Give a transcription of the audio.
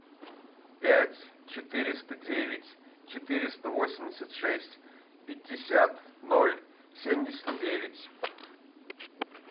пять четыреста девять четыреста восемьдесят шесть пятьдесят ноль семьдесят девять